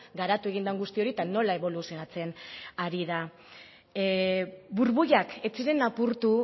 garatu egin den guzti hori eta nola eboluzionatzen ari den burbuilak ez ziren apurtu